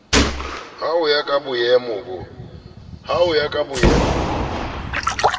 ho ya ka bomeo bo